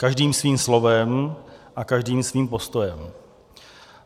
Každým svým slovem a každým svým postojem.